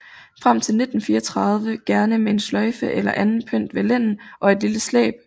Frem til 1934 gerne med en sløjfe eller anden pynt ved lænden og et lille slæb